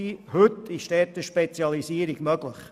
Heute ist eine Spezialisierung möglich.